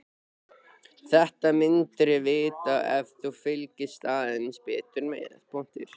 Þetta myndirðu vita ef þú fylgdist aðeins betur með.